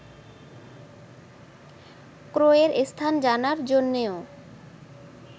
ক্রয়ের স্থান জানার জন্যও